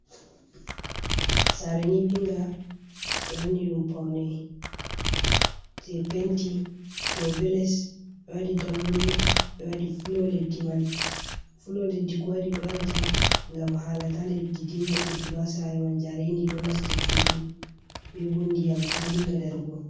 Sare nyiɓinga, ɓe wanni ɗum paune je penti dou be les. Ɓe waɗi dammuɗe, ɓe waɗi flo leddi man. Flo leddi ko waɗi ɓe waɗata, ngam hala ta leddi dinga irtugo ha sare man, jarendi ɗo nasta cuuɗi. Be bo ndiyam ta dinga darugo.